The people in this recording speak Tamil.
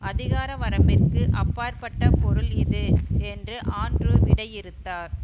அதிகார வரம்பிற்கு அப்பாற்பட்ட பொருள் இது என்று ஆண்ட்ரூ விடையிறுத்தார்